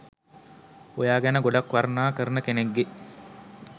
ඔයා ගැන ගොඩක් වර්ණනා කරන කෙනෙක්ගෙ